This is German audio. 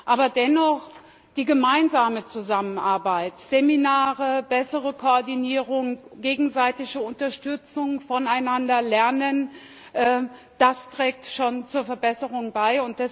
Aber dennoch Die gemeinsame Zusammenarbeit Seminare, bessere Koordinierung, gegenseitige Unterstützung, voneinander lernen trägt schon zur Verbesserung bei.